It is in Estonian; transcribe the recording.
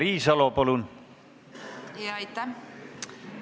Aitäh!